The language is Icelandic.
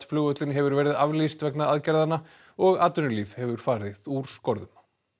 flugvöllinn hefur verið aflýst vegna aðgerðanna og atvinnulíf hefur farið úr skorðum